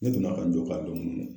Ne tun man ka n jɔ